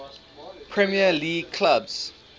premier league clubs